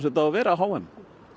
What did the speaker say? þetta á að vera á h m